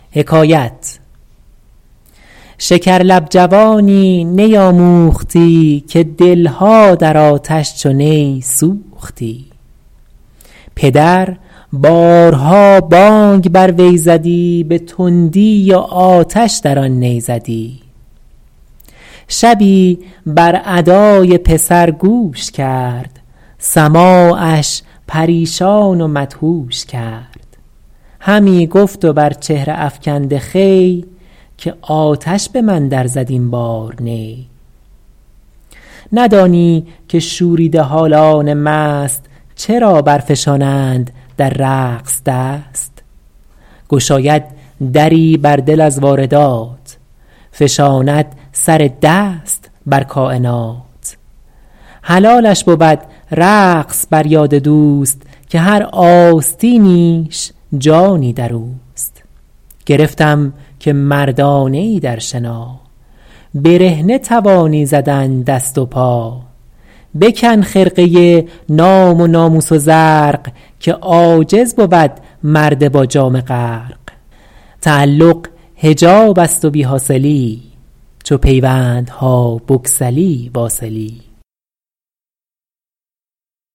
شکر لب جوانی نی آموختی که دلها در آتش چو نی سوختی پدر بارها بانگ بر وی زدی به تندی و آتش در آن نی زدی شبی بر ادای پسر گوش کرد سماعش پریشان و مدهوش کرد همی گفت و بر چهره افکنده خوی که آتش به من در زد این بار نی ندانی که شوریده حالان مست چرا بر فشانند در رقص دست گشاید دری بر دل از واردات فشاند سر دست بر کاینات حلالش بود رقص بر یاد دوست که هر آستینیش جانی در اوست گرفتم که مردانه ای در شنا برهنه توانی زدن دست و پا بکن خرقه نام و ناموس و زرق که عاجز بود مرد با جامه غرق تعلق حجاب است و بی حاصلی چو پیوندها بگسلی واصلی